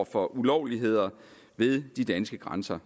for ulovligheder ved de danske grænser